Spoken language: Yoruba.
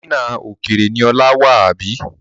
Támínà òkèèrè ni Ola wà, àbí?